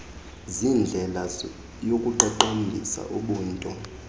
ziyindlela yokuqaqambisa ubunto